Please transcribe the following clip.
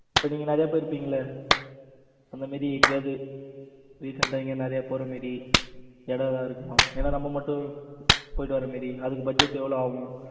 இப்ப நீங்க நிறைய பேர் இருப்பீங்கல்ல அந்த மாதிரி எங்கேயாவது recent டா நிறைய எங்கேயாவது போற மாதிரி இடம் ஏதாவது இருக்குமா? ஏன்னா நம்ம மட்டும் போயிட்டு வர்ற மாதிரி அதுக்கு budget எவ்வளவு ஆகும்.